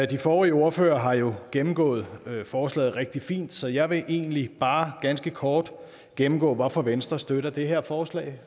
de forrige ordførere har jo gennemgået forslaget rigtig fint så jeg vil egentlig bare ganske kort gennemgå hvorfor venstre støtter det her forslag